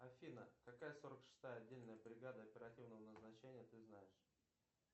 афина какая сорок шестая отдельная бригада оперативного назначения ты знаешь